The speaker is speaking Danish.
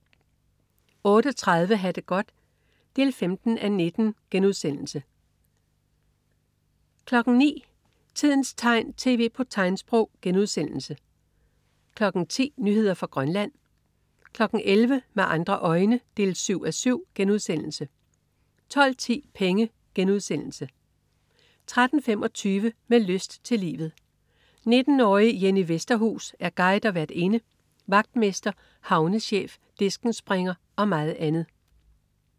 08.30 Ha' det godt 15:19* 09.00 Tidens tegn, tv på tegnsprog* 10.00 Nyheder fra Grønland 11.00 Med andre øjne 7:7* 12.10 Penge* 13.25 Med lyst til livet. 19-årige Jenny Vesterhus er guide og værtinde, vagtmester, havnechef, diskenspringer og meget andet